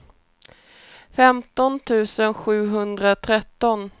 femton tusen sjuhundratretton